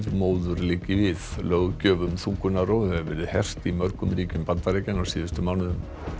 móður liggi við löggjöf um þungunarrof hefur verið hert í mörgum ríkjum Bandaríkjanna á síðustu mánuðum